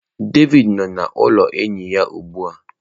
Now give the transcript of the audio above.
Devidi nọ n’ụlọ enyi ya ugbu a.